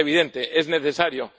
Es evidente, es necesario.